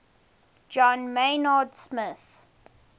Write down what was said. john maynard smith